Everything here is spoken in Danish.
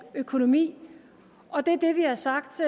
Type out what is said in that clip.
økonomi og det er det vi har sagt